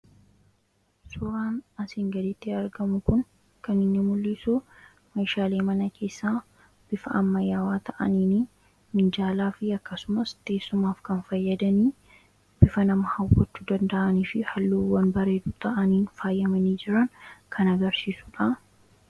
suuraan asiin gaditti argamu kun kanini mul'isu meeshaalee mana keessaa bifaammayyaawaa ta'aniin minjaalaa fi akkasumas teessumaaf kan fayyadanii bifa nama hawwatuu danda'anii fi halluuwwan bareedu ta'anii faayyamanii jiran kan agarsiisuudha